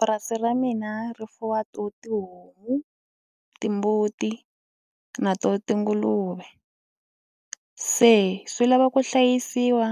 Purasi ra mina ri fuwa to tihomu, timbuti na to tinguluve se swi lava ku hlayisiwa